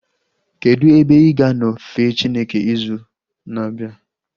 Kedụ ebe ị ga-anọ fee Chineke ịzụ na-abịa?